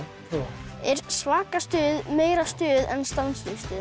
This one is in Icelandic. er svaka stuð meira stuð en stanslaust stuð